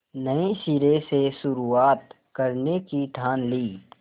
नए सिरे से शुरुआत करने की ठान ली